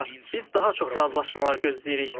Biz daha çox razılaşmalar gözləyirik.